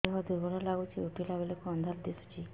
ଦେହ ଦୁର୍ବଳ ଲାଗୁଛି ଉଠିଲା ବେଳକୁ ଅନ୍ଧାର ଦିଶୁଚି